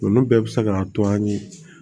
Olu bɛɛ bɛ se ka to an ye